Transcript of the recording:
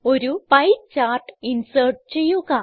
ഒരു pie chart insert ചെയ്യുക